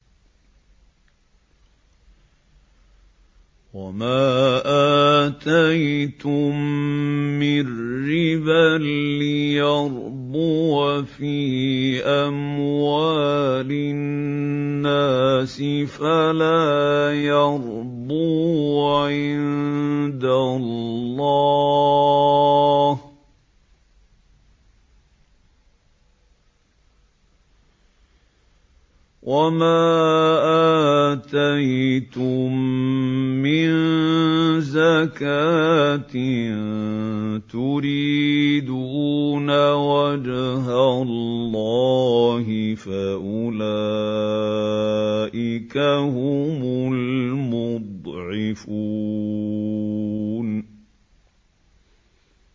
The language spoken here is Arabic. وَمَا آتَيْتُم مِّن رِّبًا لِّيَرْبُوَ فِي أَمْوَالِ النَّاسِ فَلَا يَرْبُو عِندَ اللَّهِ ۖ وَمَا آتَيْتُم مِّن زَكَاةٍ تُرِيدُونَ وَجْهَ اللَّهِ فَأُولَٰئِكَ هُمُ الْمُضْعِفُونَ